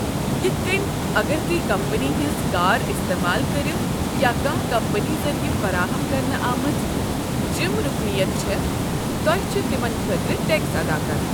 یتھ کٔنۍ، اگر تُہۍ کمپنی ہنٛز كار استعمال كریو یا کانٛہہ کمپنی ذٔریع فراہم کرنہٕ آمٕژ جم رُكنیت چھےٚ، تۄہہ چھُ تمن خٲطرٕ ٹیكس ادا کرُن۔